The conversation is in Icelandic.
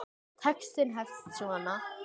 Textinn hefst svona